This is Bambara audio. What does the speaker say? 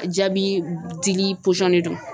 Jaabi dili de don.